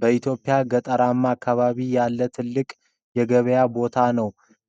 በኢትዮጵያ ገጠራማ ከተማ ያለ ትልቅ የገበያ ቦታ ነው።